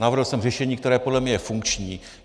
Navrhl jsem řešení, které podle mě je funkční.